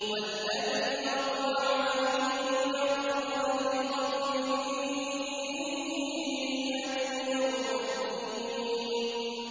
وَالَّذِي أَطْمَعُ أَن يَغْفِرَ لِي خَطِيئَتِي يَوْمَ الدِّينِ